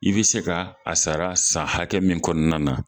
I bi se ka a sara san hakɛ min kɔnɔna na